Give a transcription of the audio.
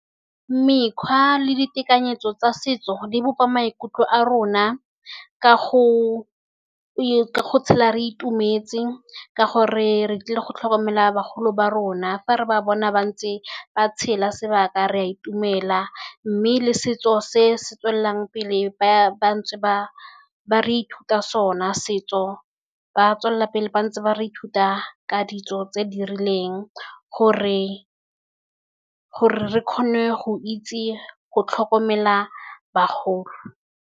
Mekgwa le ditekanyetso tsa setso di bopa maikutlo a rona, ka go tshela re itumets. Ka gore re tlile go tlhokomela bagolo ba rona fa re ba bona ba ntse ba tshela sebaka re a itumela. Mme le setso se se tswelelang pele ba ntse ba re ruta sona, setso ba tswelela pele ba ntse ba re ruta ka ditso tse di rileng, gore re kgone go itse go tlhokomela bagolo.